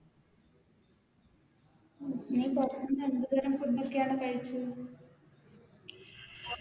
നീ ഭക്ഷണം എന്ത് തരം Food ഒക്കെയാണ് കഴിച്ചത്